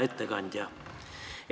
Hea ettekandja!